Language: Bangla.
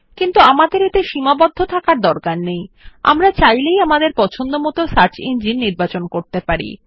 কিন্তু আমাদের এতে সীমাবদ্ধ থাকার দরকার নেই আমরা আমাদের পছন্দসই সার্চ ইঞ্জিনও নির্বাচন করতে পারি